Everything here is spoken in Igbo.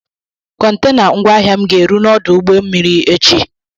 Kọntena ngwaahịa m ga-eru n'ọdụ ụgbọ mmiri echi.